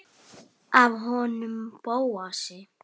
Ég espa hana líka.